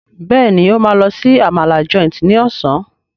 Béèni o ma ló sì Àmàlà Joint ní Ọ̀sán.